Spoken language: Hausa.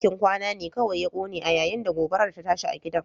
Dakin kwana ne kawai ya kone yayin da gobarar ta tashi a gidan